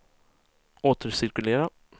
återcirkulera